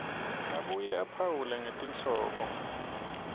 abuye aphawule ngetinhlobo